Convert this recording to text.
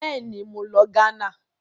Bẹ́ẹ̀ni, mo lọ Ghana.